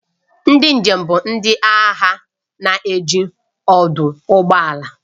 Ndị njem bụ ndị ahịa na-eji ọdụ ụgbọ ala